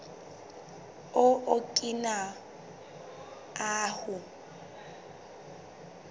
o okina ahu